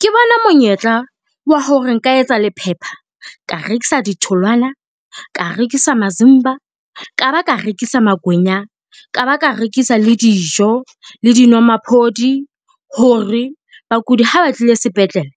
Ke bona monyetla wa hore nka etsa le phepha ka rekisa di tholwana, ka rekisa masimba, ka ba ka rekisa makwenya, ka ba ka rekisa le dijo le dinwamaphodi. Hore bakudi ha ba tlile sepetlele,